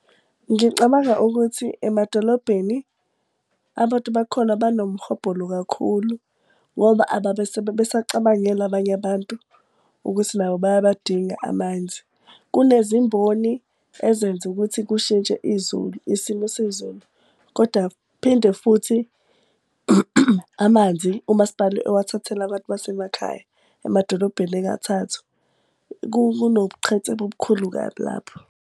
Ngicabanga ukuthi emadolobheni abantu bakhona banomhobholo kakhulu. Ngoba ababe besacabangela abanye abantu ukuthi nabo bayabadinga amanzi. Kunezimboni ezenza ukuthi lokho kushintshe isimo sezulu koda phinde futhi. Amanzi umasipala ewathathele abantu basemakhaya emadolobheni engathathwa kunobuqhetsema obukhulu kabi lapho.